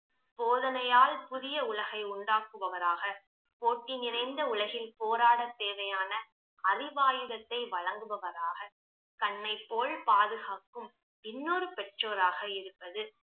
போதனையால் புதிய உலகை உண்டாக்குபவராக, போட்டி நிறைந்த உலகில் போராட தேவையான அரிவாயுதத்தை வழங்குபவராக, கண்ணை போல் பாதுகாக்கும் இன்னொரு பெற்றோராக இருப்பது